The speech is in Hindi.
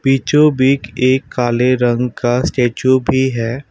बीचों बीच एक काले रंग का स्टेच्यू भी है।